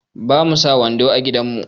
Ba mu sa wando a gidan mu.